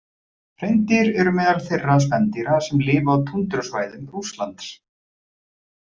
Hreindýr eru meðal þeirra spendýra sem lifa á túndrusvæðum Rússlands.